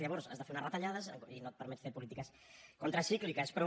llavors has de fer unes retallades i no et permet fer polítiques contracícliques però